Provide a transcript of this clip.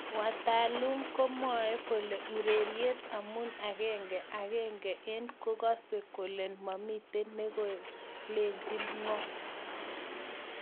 Watalum komwoe kole urarien amun agenge agenge en kokasen kolen mamiten nekalechi ngo